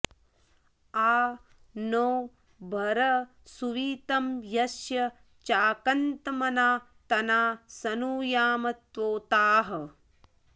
आ नो भर सुवितं यस्य चाकन्त्मना तना सनुयाम त्वोताः